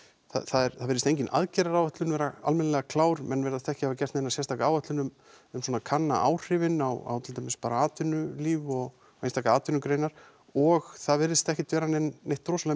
það virðist engin aðgerðaráætlun vera almennilega klár menn virðast ekki hafa gert neina sérstaka áætlun um um svona að kanna áhrifin á til dæmis bara atvinnulíf og einstakar atvinnugreinar og það virðist ekki vera neitt rosalega